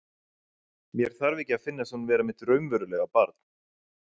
Mér þarf ekki að finnast hún vera mitt raunverulega barn.